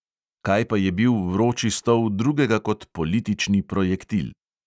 Kaj pa je bil vroči stol drugega kot politični projektil?